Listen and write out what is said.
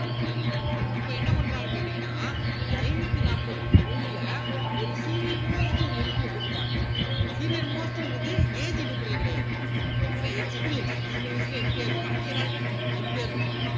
அப்ப என்ன பண்றாங்கன்னு கேட்டீங்கன்னா இந்த ஐந்நூத்தி நாற்பத்தி மூணுல ஒரு senior most ஒரு MP ய கூப்பிடுறாங்க senior most ங்கிறது age அடிப்படையில கிடையாது ஏன்னா experience சின்ன வயசுலயே MP யா இருப்பாங்க அதிக நாள் MP யா இருந்திருப்பாங்க